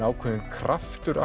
ákveðinn kraftur